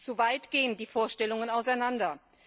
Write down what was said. Zu weit gehen die Vorstellungen auseinander.